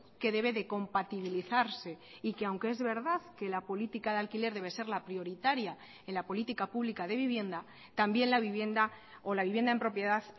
que debe de compatibilizarse y que aunque es verdad que la política de alquiler debe ser la prioritaria en la política pública de vivienda también la vivienda o la vivienda en propiedad